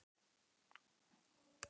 Gíslný, er opið í Háskólanum í Reykjavík?